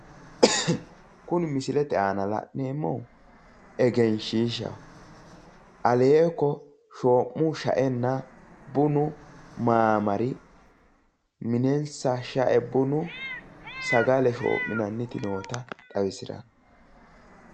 Kuni misilete aana la'neemmohu egenshiishaho aleeko shoo'mu sha'enna bunu maamari minensa sha'e bunu sagale shoo'minanniti noota xawisiranno